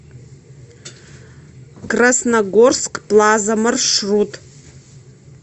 красногорск плаза маршрут